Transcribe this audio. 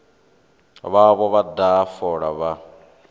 vhavho vha daha fola vha